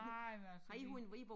Nej men altså vi